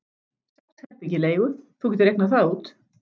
Sex herbergi í leigu: þú getur reiknað það út.